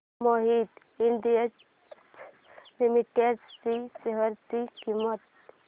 Mohit industries limited च्या share ची किंमत